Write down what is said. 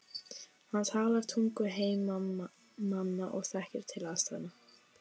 Hann talar tungu heimamanna og þekkir til aðstæðna.